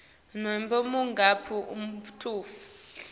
nobe ngumuphi umuntfu